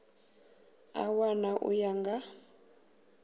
a wana u ya nga